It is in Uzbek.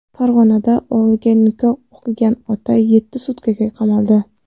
Farg‘onada o‘g‘liga nikoh o‘qigan ota yetti sutkaga qamaldi .